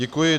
Děkuji.